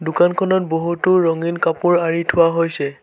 দোকানখনত বহুতো ৰঙীন কাপোৰ আঁৰি থোৱা হৈছে।